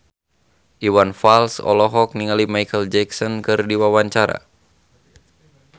Iwan Fals olohok ningali Micheal Jackson keur diwawancara